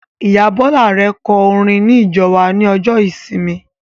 Ìyá Bọla Arẹ kọ orin ní ìjọ wa ní ọjọ ìsinmi